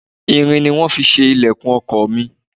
Irin ni wón fi ṣe ìlẹ̀kùn ọkọ̀ mi.